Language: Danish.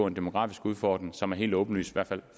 en demografisk udfordring som er helt åbenlys i hvert fald